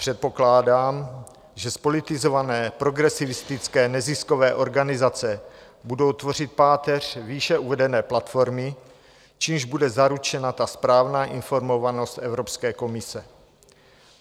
Předpokládám, že zpolitizované progresivistické neziskové organizace budou tvořit páteř výše uvedené platformy, čímž bude zaručena ta správná informovanost Evropské komise.